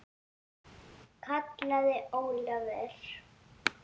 kallaði Ólafur.